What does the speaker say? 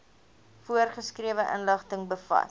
voorgeskrewe inligting bevat